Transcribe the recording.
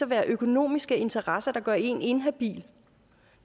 være økonomiske interesser der gør en inhabil